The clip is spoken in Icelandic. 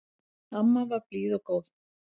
Amma var blíð og góð.